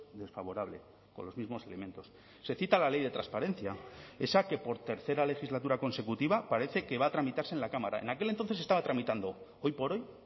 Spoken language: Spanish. desfavorable con los mismos elementos se cita la ley de transparencia esa que por tercera legislatura consecutiva parece que va a tramitarse en la cámara en aquel entonces se estaba tramitando hoy por hoy